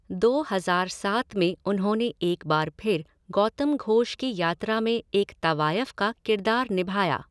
दो हज़ार सात में उन्होंने एक बार फिर गौतम घोष की यात्रा में एक तवायफ़ का किरदार निभाया।